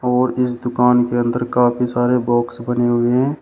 और इस दुकान के अंदर काफी सारे बॉक्स बने हुए हैं।